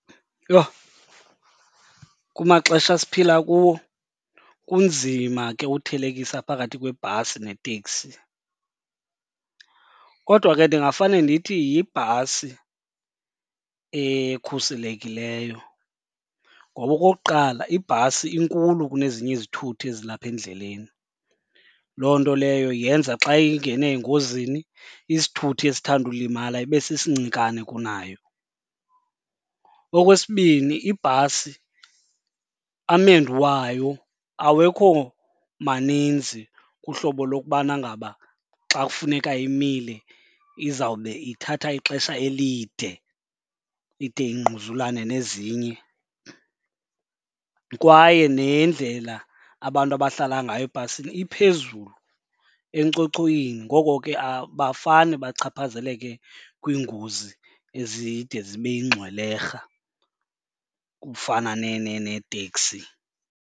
Yho, kumaxesha esiphila kuwo kunzima ke uthelekisa phakathi kwebhasi neteksi. Kodwa ke ndingafane ndithi yibhasi ekhuselekileyo ngoba okokuqala, ibhasi inkulu kunezinye izithuthi ezilapha endleleni. Loo nto leyo yenza xa ingene engozini isithuthi esithanda ulimala ibe sesincikane kunayo. Okwesibini ibhasi amendu wayo awekho maninzi kuhlobo lokubana ngaba xa kufuneka imile izawube ithatha ixesha elide ide ingquzulane nezinye. Kwaye nendlela abantu abahlala ngayo ebhasini iphezulu enkcochoyini ngoko ke abafane bachaphazeleke kwiingozi ezide zibe yingxwelerha kufana neeteksi.